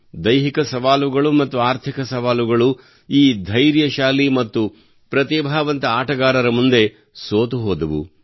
ದೈಹಿಕ ಸವಾಲುಗಳು ಮತ್ತು ಆರ್ಥಿಕ ಸವಾಲುಗಳು ಈ ಧೈರ್ಯಶಾಲಿ ಮತ್ತು ಪ್ರತಿಭಾವಂತ ಆಟಗಾರರ ಮುಂದೆ ಸೋತು ಹೋದವು